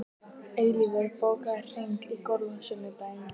Eilífur, bókaðu hring í golf á sunnudaginn.